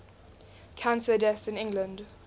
cancer deaths in england